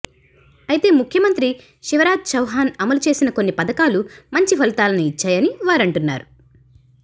అయితే ముఖ్యమంత్రి శివరాజ్ చౌహాన్ అమలుచేసిన కొన్ని పథకాలు మంచి ఫలితాలను ఇచ్చాయని వారంటున్నారు